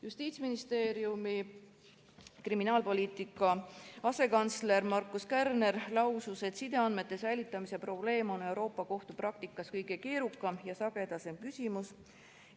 Justiitsministeeriumi kriminaalpoliitika asekantsler Markus Kärner lausus, et sideandmete säilitamise probleem on Euroopa Liidu Kohtu praktikas kõige keerukam ja sagedasem küsimus.